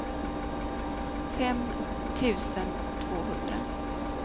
fem tusen tvåhundra